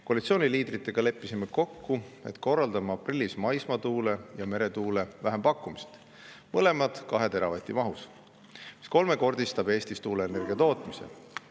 Koalitsiooni liidritega leppisime kokku, et korraldame aprillis maismaatuule ja meretuule vähempakkumised, mõlemad 2 teravati mahus, mis kolmekordistab Eestis tuuleenergia tootmise.